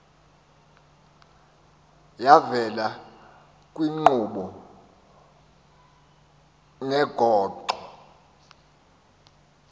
yavela kwiinkqubo neengxoxo